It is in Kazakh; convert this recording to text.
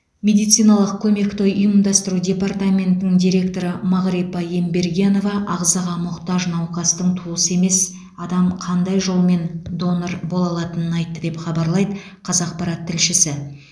медициналық көмекті ұйымдастыру департаментінің директоры мағрипа ембергенова ағзаға мұқтаж науқастың туысы емес адам қандай жолмен донор бола алатынын айтты деп хабарлайды қазақпарат тілшісі